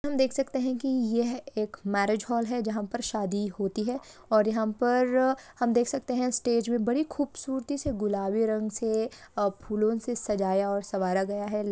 हम देख सकते है की यह मैरीज हॉल है जहांँ पर शादी होती है और यहाँ पर हम देख सकते है स्टेज मे बड़ी खूबसूरती से गुलाबी रंग से अ--फूलों से सजाया और सवारा गया हैं ।